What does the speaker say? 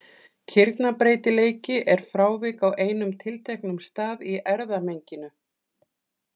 Kirnabreytileiki er frávik á einum tilteknum stað í erfðamenginu.